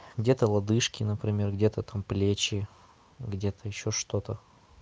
где-то лодыжки например где-то там плечи где-то ещё что-то